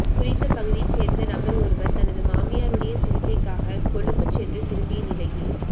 குறித்த பகுதியை சேர்ந்த நபர் ஒருவர் தனது மாமியாருடைய சிகிச்சைக்காக கொழும்பு சென்று திரும்பிய நிலையில்